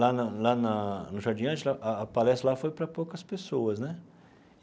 Lá na lá na no Jardim Angela, a palestra lá foi para poucas pessoas né.